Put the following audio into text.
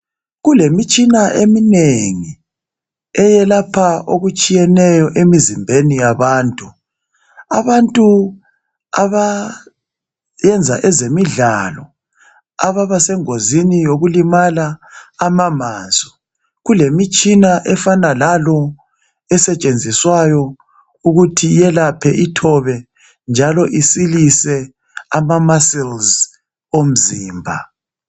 Kulemitshina eminengi eyelapha okutshiyeneyo emizimbeni yabantu. Abantu abayenza ezemidlalo ababasengozini yokulimala ama mansu kulemitshina efana lalo esetshenziswayo ukuthi yelaphe ithobe njalo isilise ama muscles omzimba.